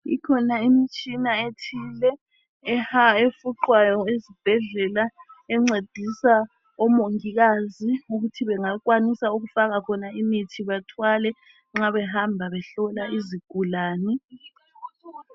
Ikhona imitshina ethile efuqwayo ezibhedlela encedisa omongikazi ukuthi bengakwanisa ukufaka khona imithi bathwale nxa behamba behlola izigulani .